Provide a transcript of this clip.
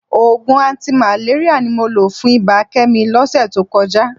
Òògùn antimalaria ni mo lò fún ibà Kẹ́mi lọ́sẹ̀ tó kọjá